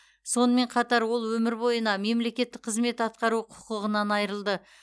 сонымен қатар ол өмір бойына мемлекеттік қызмет атқару құқығынан айырылды